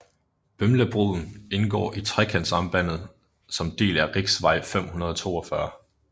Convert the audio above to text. Bømlabroen indgår i Trekantsambandet som del af riksvei 542